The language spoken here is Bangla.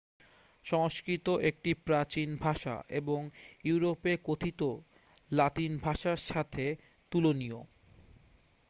সংস্কৃত একটি প্রাচীন ভাষা এবং ইউরোপে কথিত লাতিন ভাষার সাথে তুলনীয়